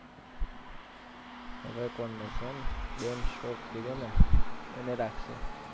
હવે કોણ રેહશે એમ ban stocks લીધો ને એને રાખશે.